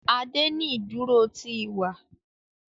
Ade ní iduro ti iwa